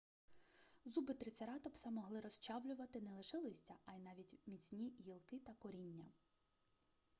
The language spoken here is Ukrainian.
зуби трицератопса могли розчавлювати не лише листя а й навіть міцні гілки та коріння